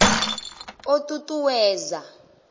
o ṱ u ṱ uwedza